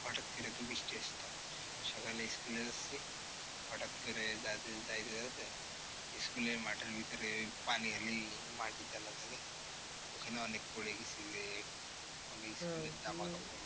হটাৎ করে তো বৃষ্টি আসতো। সকালে school এ যাচ্ছি হটাৎ করে যাইতে যাইতে যাইতে school এ মাঠের ভিতরে ওই পানি হলেই মাটি তেলা থাকে ওখানে অনেক পড়ে গেছি। মানে school এর জামাকাপড়,